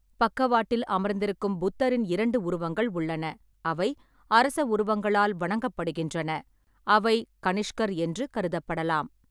பக்கவாட்டில் அமர்ந்திருக்கும் புத்தரின் இரண்டு உருவங்கள் உள்ளன, அவை அரச உருவங்களால் வணங்கப்படுகின்றன, அவை கனிஷ்கர் என்று கருதப்படலாம்.